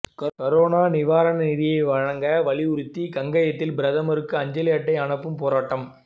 corona நிவாரண நிதி வழங்க வலியுறுத்தி காங்கயத்தில் பிரதமருக்கு அஞ்சலட்டை அனுப்பும் போராட்டம்